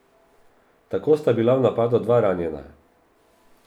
Tako sta bila v napadu dva ranjena.